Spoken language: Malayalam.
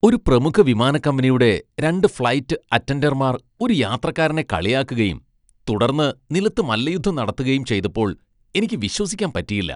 ഒരു പ്രമുഖ വിമാനക്കമ്പനിയുടെ രണ്ട് ഫ്ലൈറ്റ് അറ്റൻഡർമാർ ഒരു യാത്രക്കാരനെ കളിയാക്കുകയും തുടർന്ന് നിലത്ത് മല്ലയുദ്ധം നടത്തുകയും ചെയ്തപ്പോൾ എനിക്ക് വിശ്വസിക്കാൻ പറ്റിയില്ല .